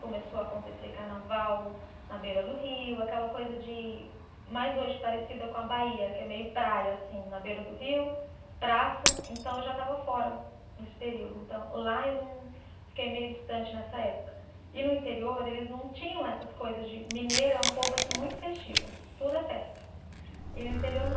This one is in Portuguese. Começou a acontecer carnaval na beira do rio, aquela coisa de, mais hoje parecida com a Bahia que é meio praia assim, na beira do rio, praça, então eu já estava fora nesse período, então lá eu não, fiquei meio distante nessa época, e no interior eles não tinham essas coisas de mineiro é um povo assim muito festivo tudo é festa e no interior não